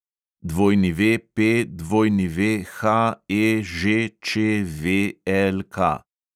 WPWHEŽČVLK